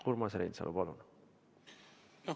Urmas Reinsalu, palun!